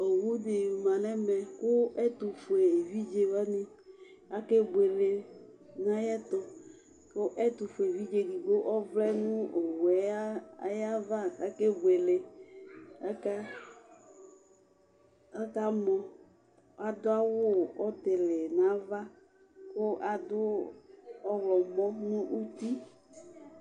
owu di ma n'ɛmɛ kò ɛtofue evidze wani ake buele no ayi ɛto kò ɛtofue evidze edigbo ɔvlɛ no owu yɛ ayi ava k'ake buele aka aka mɔ adu awu ɔtili n'ava kò adu ɔwlɔmɔ no uti